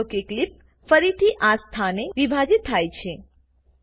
નોંધ લો કે ક્લીપ ફરીથી આ સ્થાને વિભાજીત થાય છે